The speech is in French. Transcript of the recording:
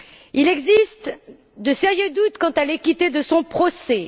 Il existe de sérieux doutes quant à l'équité de son procès.